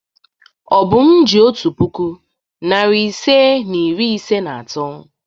Obum ji otu puku, narị ise na iri ise na atọ.